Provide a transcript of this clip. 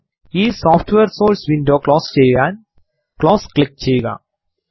ഈ software sources window close ചെയ്യാൻ close click ചെയ്യുക